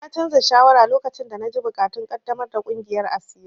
Na canza shawara lokacin da na ji buƙatun ƙaddamar da ƙungiyar asiri.